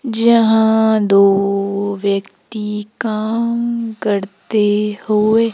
जहां दो व्यक्ति काम करते हुए--